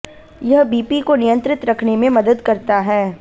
यह बीपी को नियंत्रित रखने में मदद करता है